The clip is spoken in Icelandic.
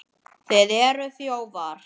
Nú er hún glöð.